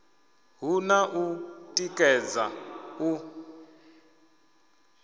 hu na u tikedza u